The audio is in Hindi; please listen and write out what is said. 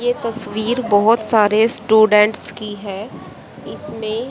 ये तस्वीर बहोत सारे स्टूडेंट्स हैं इसमें--